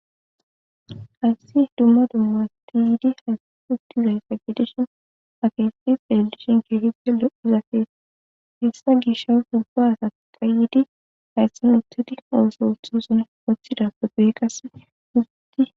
Hayssi dumma dummas ti yiidi haysauftizayfa gedishin akeesi felilishin kehipe lo,izafee hessa gisha hubbo asa qayidi hayssi mitidi ooso utxoson wothida fe guy qasse uzudi.